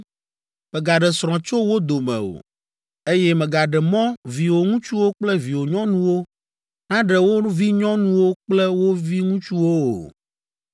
Mègaɖe srɔ̃ tso wo dome o, eye mègaɖe mɔ viwò ŋutsuwo kple viwò nyɔnuwo naɖe wo vinyɔnuwo kple wo viŋutsuwo o.